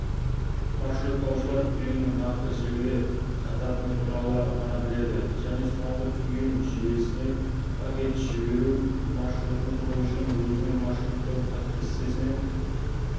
маршруттаушылар түйіннің нақты желіге жататыны туралы ғана біледі және соңғы түйін желісіне пакет жіберу маршрутын құру үшін өзінің маршруттау кестесінен